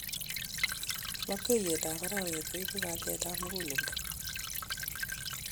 Lopkeiyetap arawe kuibu kalyet om mukulelto.